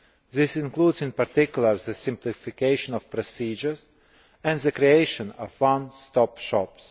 This includes in particular the simplification of procedures and the creation of one stop shops.